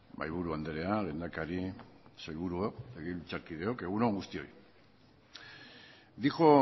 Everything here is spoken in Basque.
mahaiburu andrea lehendakari sailburuok legebiltzarkideok egun on guztioi dijo